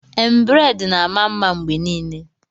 Embrade na-ama mma mgbe niile